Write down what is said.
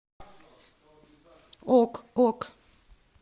ок ок